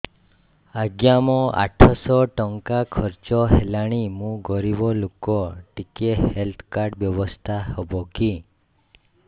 ଆଜ୍ଞା ମୋ ଆଠ ସହ ଟଙ୍କା ଖର୍ଚ୍ଚ ହେଲାଣି ମୁଁ ଗରିବ ଲୁକ ଟିକେ ହେଲ୍ଥ କାର୍ଡ ବ୍ୟବସ୍ଥା ହବ କି